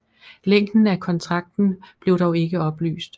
Længden af kontrakten blev dog ikke oplyst